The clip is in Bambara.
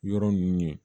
Yɔrɔ ninnu ye